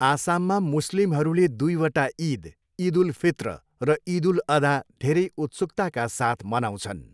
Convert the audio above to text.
आसाममा मुस्लिमहरूले दुईवटा ईद, ईद उल फित्र र ईद उल अदा धेरै उत्सुकताका साथ मनाउँछन्।